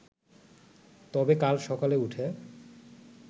তবে কাল সকালে উঠে